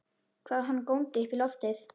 Hann góndi upp í loftið!